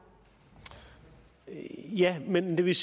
at man hvis